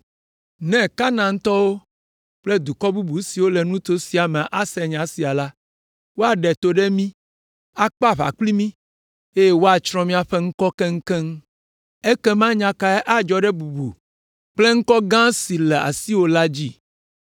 Ne Kanaantɔwo kple dukɔ bubu siwo le nuto sia me ase nya sia la, woaɖe to ɖe mí, akpe aʋa kpli mí, eye woatsrɔ̃ míaƒe ŋkɔ keŋkeŋ. Ekema nya kae adzɔ ɖe bubu kple ŋkɔ gã si le asiwò la dzi?”